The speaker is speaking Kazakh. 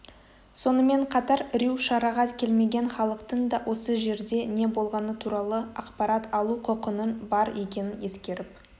сонымен қатар рью шараға келмеген халықтың да осы жерде не болғаны туралы ақпарат алу құқының бар екенін ескеріп